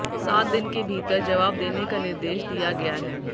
सात दिन के भीतर जवाब देने का निर्देश दिया गया है